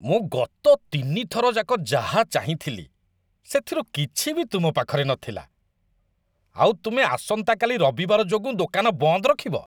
ମୁଁ ଗତ ତିନି ଥର ଯାକ ଯାହା ଚାହିଁଥିଲି ସେଥିରୁ କିଛି ବି ତୁମ ପାଖରେ ନଥିଲା, ଆଉ ତୁମେ ଆସନ୍ତାକାଲି ରବିବାର ଯୋଗୁଁ ଦୋକାନ ବନ୍ଦ ରଖିବ।